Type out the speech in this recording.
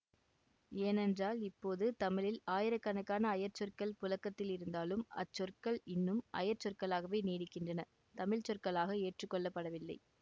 ஏனென்றால் இப்போது தமிழில் ஆயிரக்கணக்கான அயற்சொற்கள் புழக்கத்தில் இருந்தாலும் அச்சொற்கள் இன்னும் அயற்சொற்களாகவே நீடிக்கின்றன தமிழ் சொற்களாக ஏற்றுக்கொள்ளப்படவில்லை